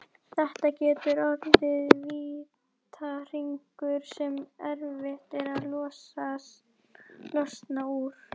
Þetta getur orðið vítahringur sem erfitt er að losna úr.